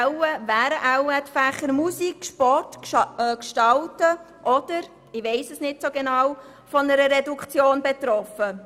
Also wären wohl eher die Fächer Musik, Sport oder Gestalten von einer Reduktion betroffen.